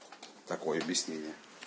такое объяснение